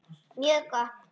Mjög gott.